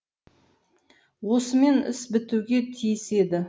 осымен іс бітуге тиіс еді